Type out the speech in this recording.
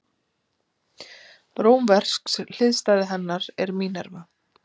Rómversk hliðstæða hennar er Mínerva.